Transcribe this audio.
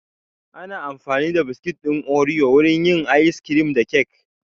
Ana amfani da biskit ɗin oriyo wurin yin ayis kirim da kek